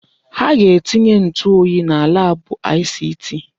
Ha ga-etinye ntụ oyi na laabụ ICT.